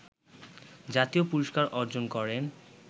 জাতীয় পুরস্কার অর্জন করেন